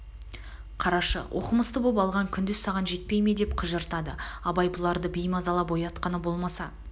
қарашы оқымысты боп алған күндіз саған жетпей ме деп қыжыртады абай бұларды беймазалап оятқаны болмаса